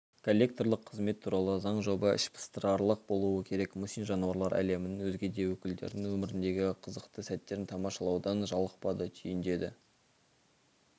коллекторлық қызмет туралы заң жоба іш пыстырарлық болуы керек мұсин жануарлар әлемінің өзге де өкілдерінің өміріндегі қызықты сәттерін тамашалаудан жалықпады түйіндеді